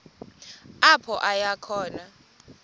apho aya khona